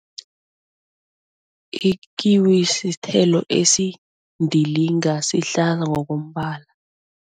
Ikiwi sithelo esindilinga ngokombala.